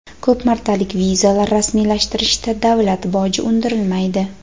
ko‘p martalik vizalar rasmiylashtirishda davlat boji undirilmaydi.